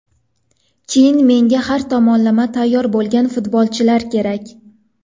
Keyin menga har tomonlama tayyor bo‘lgan futbolchilar kerak.